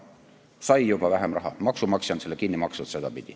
Ta sai juba vähem raha, maksumaksja on selle niimoodi kinni maksnud.